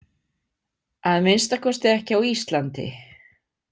Að minnsta kosti ekki á Íslandi.